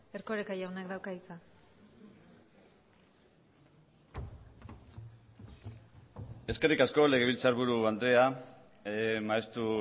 erkoreka jaunak dauka hitza eskerrik asko legebiltzarburu andrea maeztu